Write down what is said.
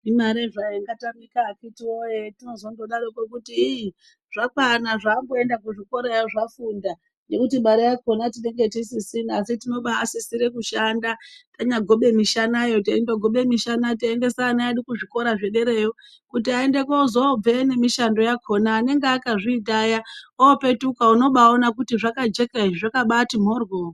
Imare hayo ingatamika akhiti woye tinozondodaroko kuti igh zvakwana zvaamboenda kuchikorayo zvafunda ngekuti mare yakhona tinenge tisisina asi tinobaasisire kushanda tanyagobe mishana teindogobe teiendesa ana edu kuzvikora zvedereyo kuti aone kuzoobveyo nemishando yakhona anenge akazviita aya oopetuka unobaaone kuti zvakajeka izvi zvakabaiti mhorhyo.